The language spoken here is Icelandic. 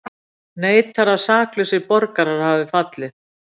Neitar að saklausir borgarar hafi fallið